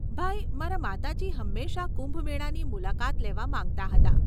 ભાઈ, મારા માતાજી હંમેશા કુંભ મેળાની મુલાકાત લેવા માંગતાં હતાં.